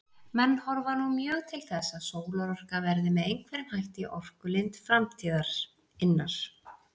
Menn horfa nú mjög til þess að sólarorka verði með einhverjum hætti orkulind framtíðarinnar.